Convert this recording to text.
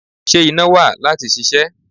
Ṣé iná wà láti ṣiṣẹ́?